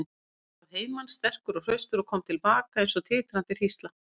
Hann fór að heiman sterkur og hraustur og kom til baka eins og titrandi hrísla.